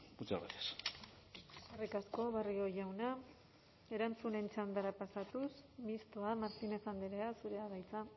muchas gracias eskerrik asko barrio jauna erantzunen txandara pasatuz mistoa martínez andrea zurea da hitza